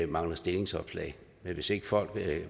mangler stillingsopslag men hvis ikke folk